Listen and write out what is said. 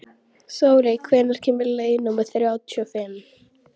Þóri, hvenær kemur leið númer þrjátíu og fimm?